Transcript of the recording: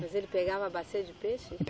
Mas ele pegava a bacia de peixe?